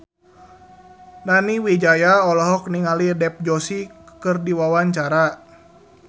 Nani Wijaya olohok ningali Dev Joshi keur diwawancara